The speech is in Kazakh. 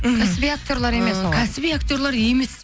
мхм кәсіби актерлер емес олар ы кәсіби актерлер емес